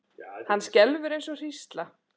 Hann skelfur eins og hrísla.